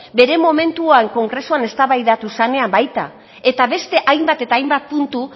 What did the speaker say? bere momentuan kongresuan eztabaidatu zanean baita eta beste hainbat eta hainbat puntu